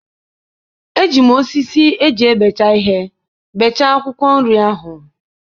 Eji m osisi eji ebecha ihe bechaa akwụkwọ nri ahụ